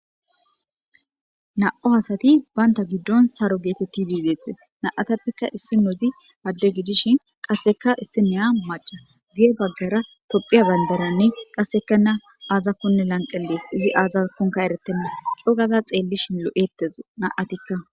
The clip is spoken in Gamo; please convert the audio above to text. na7o hasati baynta giddon saro geetetti biizeete na7atappeka issi nozi adde gidishin qasseka issineya maca guye baggara tophiya bandaranne qasseka na aazakonne lanqellees izi aazakonka eretenna cogaza xeellishin lo7ettezo na7atikka